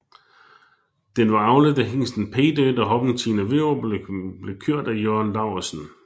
Den var avlet af hingsten Pay Dirt og hoppen Tina Virup og blev kørt af Jørn Laursen